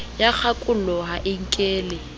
ya kgakollo ha e nkele